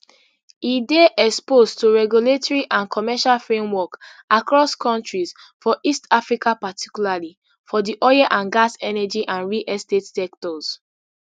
e dey exposed to regulatory and commercial framework across kontris for east africa particularly for di oil and gas energy and real estate sectors